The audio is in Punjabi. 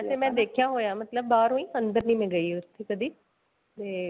ਵੈਸੇ ਮੈਂ ਦੇਖਿਆ ਹੋਇਆ ਮਤਲਬ ਬਾਹਰੋ ਈ ਅੰਦਰ ਨੀਂ ਮੈਂ ਗਈ ਉੱਥੇ ਕਦੀ ਤੇ